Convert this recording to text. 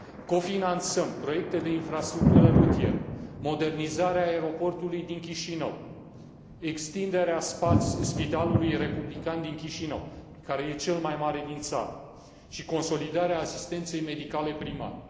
Cofinanțăm proiecte de infrastructură rutieră, modernizarea aeroportului din Chișinău, extinderea spitalului republican din Chișinău, care este cel mai mare din țară, și consolidarea asistenței medicale primare.